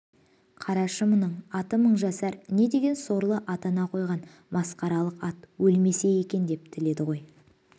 қарашы мұның аты мыңжасар не деген сорлы ата-ана қойғаң масқаралық ат өлмесе екен деп тіледі ғой